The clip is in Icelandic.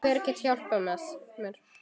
En hver gat hjálpað mér?